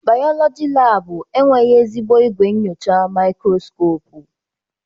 Bayọlọji laabụ enweghị ezigbo igwe nyocha maikroskopu.